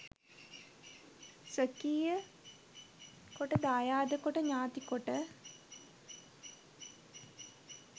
ස්වකීය කොට දායාද කොට ඥාති කොට